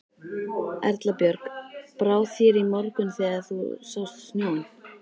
Erla Björg: Brá þér í morgun þegar þú sást snjóinn?